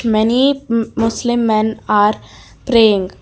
many muslim man are praying.